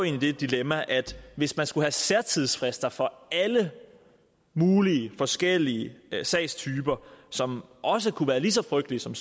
i det dilemma at hvis man skulle have særtidsfrister for alle mulige forskellige sagstyper som også kunne være lige så frygtelige som